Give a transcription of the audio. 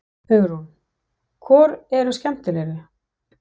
Hugrún: Hvor eru skemmtilegri?